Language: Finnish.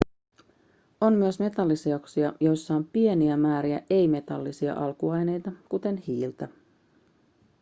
on myös metalliseoksia joissa on pieniä määriä ei-metallisia alkuaineita kuten hiiltä